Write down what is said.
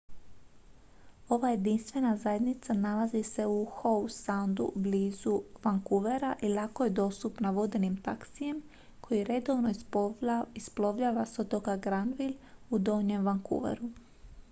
ova jedinstvena zajednica nalazi se u howe soundu blizu vancouvera i lako je dostupna vodenim taksijem koji redovno isplovljava s otoka granville u donjem vancouveru